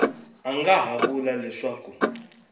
a nga ha vula leswaku